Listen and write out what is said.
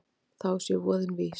Þá sé voðinn vís.